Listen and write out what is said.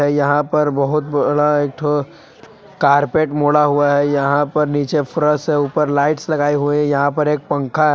यहां पर बहुत बड़ा एक ठो कारपेट मोड़ा हुआ है यहा पर नीचे फ्रस है ऊपर लाइट्स लगाई हुई है यहा पर एक पंखा--